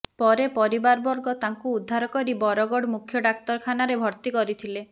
ପରେ ପରିବାରବର୍ଗ ତାଙ୍କୁ ଉଦ୍ଧାର କରି ବରଗଡ଼ ମୁଖ୍ୟ ଡାକ୍ତରଖାନାରେ ଭର୍ତ୍ତି କରିଥିଲେ